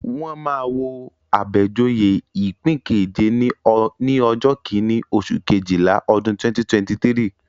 Wọ́n máa wo Abejoye ipin keje ní ọjọ́ kíní, oṣù Kejìlá, ọdún 2023.